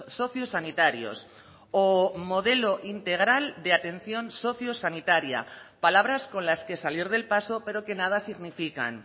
sociosanitarios o modelo integral de atención socio sanitaria palabras con las que salir del paso pero que nada significan